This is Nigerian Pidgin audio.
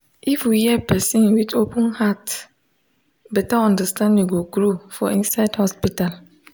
if we hear person with open heart better understanding go grow for inside hospital.